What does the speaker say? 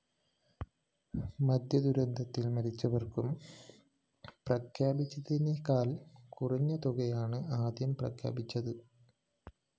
മദ്യദുരന്തത്തില്‍ മരിച്ചവര്‍ക്കു പ്രഖ്യാപിച്ചതിനേക്കാള്‍ കുറഞ്ഞതുകയാണ് ആദ്യം പ്രഖ്യാപിച്ചത്